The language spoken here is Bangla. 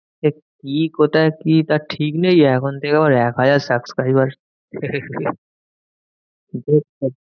সে কি? কোথায়? কি? তার ঠিক নেই এখন থেকে আবার এক হাজার subscriber